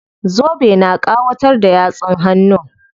Zobe na ƙawatar da yatsun hannun.